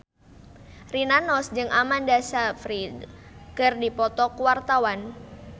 Rina Nose jeung Amanda Sayfried keur dipoto ku wartawan